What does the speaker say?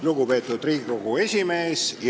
Lugupeetud Riigikogu esimees!